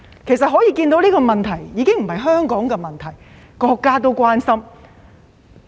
由此可見，問題已不是香港的問題，連國家也關心。